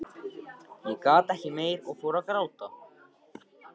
Ég gat ekki meir og fór að gráta.